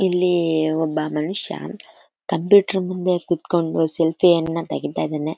ಇಲ್ಲಿ ಒಬ್ಬ ಮನುಷ್ಯ ಕಂಪ್ಯೂಟರ್ ಮುಂದೆ ಕುತ್ಕೊಂಡು ಸೆಲ್ಫಿ ಯನ್ನ ತಗಿತಾ ಇದಾನೆ